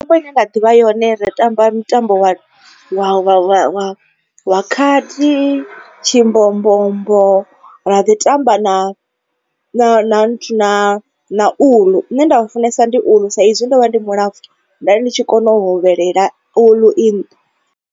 Khombo ine nda ḓivha yone ri tamba mutambo wa wa wa khadi, tshimbombombo ra ḓi tamba na na na na nthu na uḽu. Une nda u funesa ndi uḽu sa izwi ndo vha ndi mulapfu nda ndi tshi kona u hovhelela uḽu i.